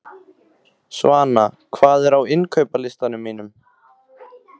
Svana, hvað er á innkaupalistanum mínum?